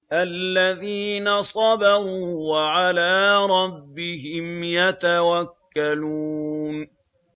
الَّذِينَ صَبَرُوا وَعَلَىٰ رَبِّهِمْ يَتَوَكَّلُونَ